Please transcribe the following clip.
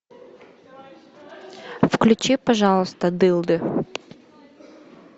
включи пожалуйста дылды